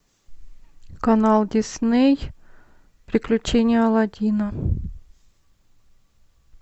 канал дисней приключения аладдина